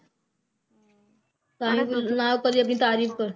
ਆਪਣੀ ਤਾਰੀਫ